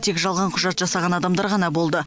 тек жалған құжат жасаған адамдар ғана болды